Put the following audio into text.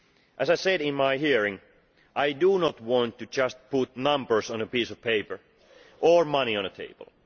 As I said in my hearing, I do not want to just put numbers on a piece of paper or money on a table.